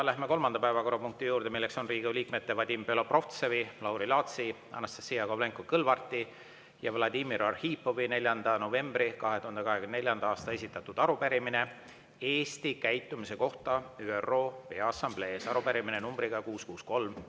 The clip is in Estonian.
Läheme kolmanda päevakorrapunkti juurde, mis on Riigikogu liikmete Vadim Belobrovtsevi, Lauri Laatsi, Anastassia Kovalenko-Kõlvarti ja Vladimir Arhipovi 4. novembril 2024. aastal esitatud arupärimine Eesti käitumise kohta ÜRO Peaassamblees, arupärimine nr 663.